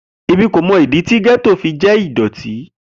Emi ko mọ idi ti getto jẹ idoti.